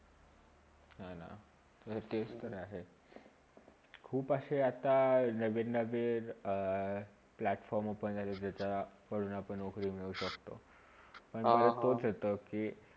तर तेच ते आहे खूप अशे आता नवीन -नवीन अ platform open झालेले आहे ज्याच्याकडून आपण नोकरी मिळू शक्तो पण आता तोच होते कि